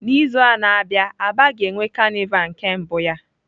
N'izu a na-abịa aba ga-enwe carnival nke mbụ ya.